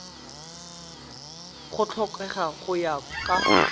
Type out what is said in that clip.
go tlhokega go ya ka